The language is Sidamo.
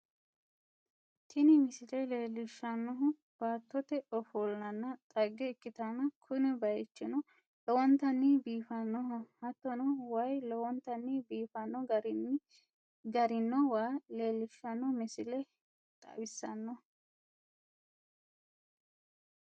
Tini misile leellishshannohu baattote ofollanna dhagge ikkitanna, kuni bayichino lowontanni biifannoho hattono, waayi lowontanni biifanno garinni garino waa leellishshanno misile xawissanno.